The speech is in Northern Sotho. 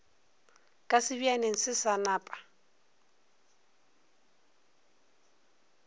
ka sebjaneng se sa napa